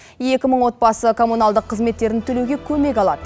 екі мың отбасы коммуналдық қызметтерін төлеуге көмек алады